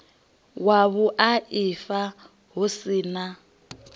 wa vhuaifa hu si na